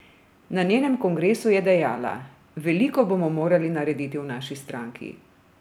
Na njenem kongresu je dejala: "Veliko bomo morali narediti v naši stranki.